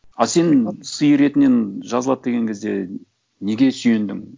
а сен сиыр етінен жазылады деген кезде неге сүйендің